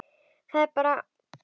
Það er bara.